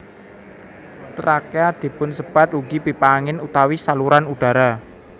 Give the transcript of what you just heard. Trakea dipunsebat ugi pipa angin utawi saluran udara